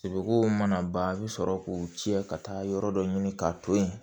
Sogow mana ban a bi sɔrɔ k'u cɛ ka taa yɔrɔ dɔ ɲini ka to yen